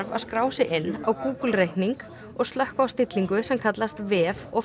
að skrá sig inn á Google reikning og slökkva á stillingu sem kallast vef og